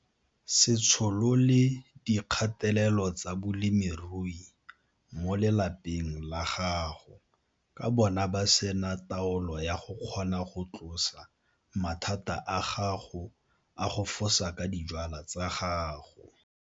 Se tsholole dikgatelelo tsa bolemirui mo lelapeng la gago ka bona ba se na taolo ya go kgona go tlosa mathata a gago a go fosa ka dijwalwa tsa gago.